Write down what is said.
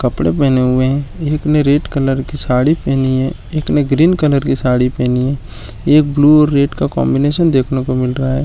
कपडे पहने हुए है एक ने रेड कलर की साड़ी पहनी है एक ने ग्रीन कलर की साड़ी पहनी हुई है एक ब्लू और एक रेड का कॉन्बिनेशन देखने को मिल रहा है।